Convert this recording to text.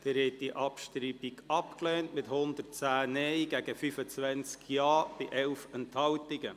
Sie haben die Abschreibung abgelehnt, mit 110 Nein-, 25 Ja-Stimmen und 11 Enthaltungen.